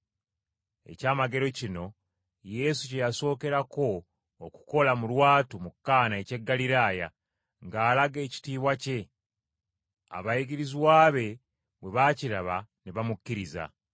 Ekyamagero kino, Yesu kye yasookerako okukola mu lwatu mu Kaana eky’e Ggaliraaya, ng’alaga ekitiibwa kye. Abayigirizwa be bwe baakiraba ne bamukkiriza.